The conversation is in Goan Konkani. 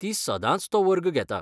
ती सदांच तो वर्ग घेता.